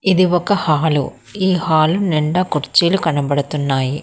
ఇది ఒక హాలు ఈ హాలు నిండా కుర్చీలు కనబడుతున్నాయి.